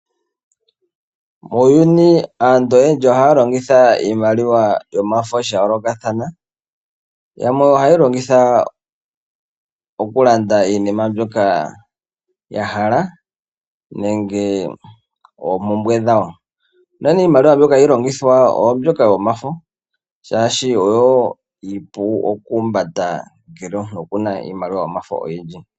Muuyuni aantu oyendji ohaya longitha iimaliwa yomafo sha yoolokathana, yamwe ohayeyi longitha okulanda iinima mbyoka yahala nenge oompumbwe dhawo unene iimaliwa mbyoka hayi longithwa oyo mbyoka yomafo, oshoka oyo iipu okuhumbata ngele omuntu okuna iimaliwa yomafo oyindji.